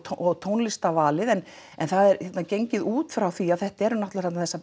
og tónlistarvalið en það er gengið út frá því að þetta eru náttúrulega þarna þessar